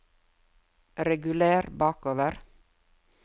reguler bakover